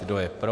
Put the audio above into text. Kdo je pro?